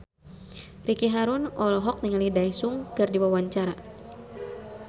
Ricky Harun olohok ningali Daesung keur diwawancara